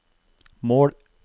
mål